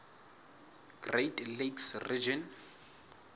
great lakes region